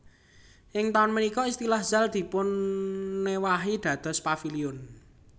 Ing taun punika istilah Zaal dipunéwahi dados Paviliun